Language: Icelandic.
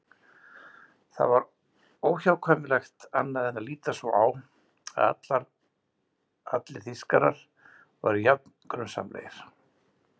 Það var óhjákvæmilegt annað en að líta svo á að allir Þýskarar væru jafn grunsamlegir.